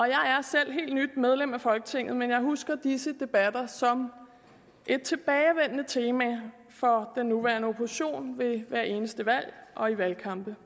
jeg er selv helt nyt medlem af folketinget men jeg husker disse debatter som et tilbagevendende tema for den nuværende opposition ved hvert eneste valg og i valgkampene